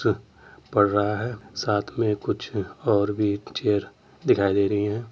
पढ़ रहा है साथ में कुछ और भी चेयर दिखाई दे रही हैं।